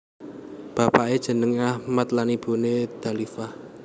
Bapaké jenengé Achmad lan ibuné Dalifah